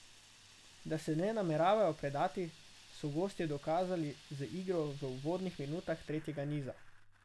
Da se ne nameravajo predati, so gostje dokazali z igro v uvodnih minutah tretjega niza.